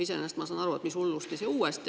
Iseenesest ma saan aru, et mis hullusti, see uuesti.